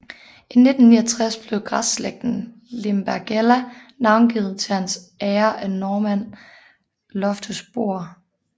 I 1969 blev græsslægten Lindbergella navngivet til hans ære af Norman Loftus Bor